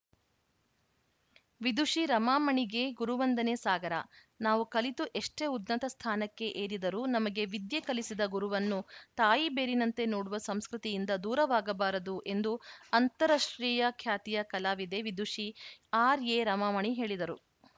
ವಿದುಷಿ ರಮಾಮಣಿಗೆ ಗುರುವಂದನೆ ಸಾಗರ ನಾವು ಕಲಿತು ಎಷ್ಟೇ ಉನ್ನತ ಸ್ಥಾನಕ್ಕೆ ಏರಿದರೂ ನಮಗೆ ವಿದ್ಯೆ ಕಲಿಸಿದ ಗುರುವನ್ನು ತಾಯಿಬೇರಿನಂತೆ ನೋಡುವ ಸಂಸ್ಕೃತಿಯಿಂದ ದೂರವಾಗಬಾರದು ಎಂದು ಅಂತಾಷ್ಟ್ರೀಯ ಖ್ಯಾತಿಯ ಕಲಾವಿದೆ ವಿದುಷಿ ಆರ್‌ಎರಮಾಮಣಿ ಹೇಳಿದರು